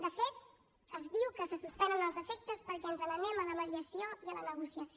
de fet es diu que se suspenen els efectes perquè ens n’anem a la mediació i a la negociació